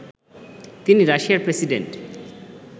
তিনি রাশিয়ার প্রেসিডেন্ট